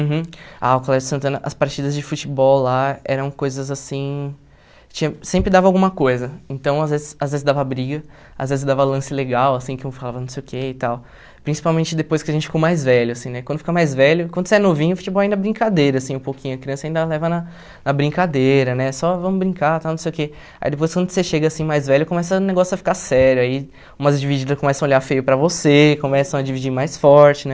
Uhum. Ah, o Colégio Santana, as partidas de futebol lá eram coisas assim, tinha sempre dava alguma coisa, então às vezes às vezes dava briga, às vezes dava lance legal, assim, que um falava não sei o que e tal, principalmente depois que a gente ficou mais velho, assim, né, quando fica mais velho, quando você é novinho, o futebol ainda é brincadeira, assim, um pouquinho, a criança ainda leva na na brincadeira, né, só vamos brincar, tal, não sei o que, aí depois quando você chega assim mais velho, começa o negócio a ficar sério, aí umas divididas começam a olhar feio para você, começam a dividir mais forte, né,